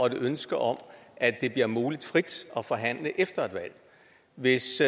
et ønske om at det bliver muligt frit at forhandle efter et valg hvis